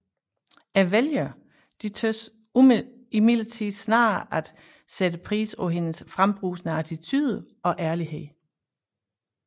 Vælgerne synes imildertid snarere at sætte pris på hendes frembrusende attitude og ærlighed